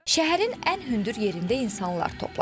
Şəhərin ən hündür yerində insanlar toplaşıb.